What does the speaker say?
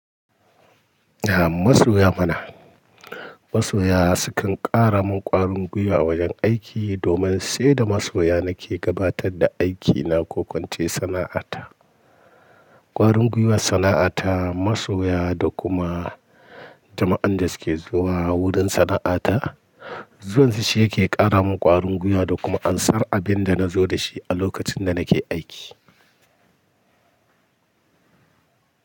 A masoya muna. Masoya su kan ƙara min ƙwarin gwiwa wajen aiki domin sai da masoya nake gabatar da aikina ko ko ince sana'ata. Ƙwarin gwiwar sana'ata, masoya da kuma jama'an da suke zuwa wurin sana'ata. Zuwan su shi yake ƙara min ƙwarin gwiwa da kuma ansar abin da nazo da shi a lokacin da nake aiki.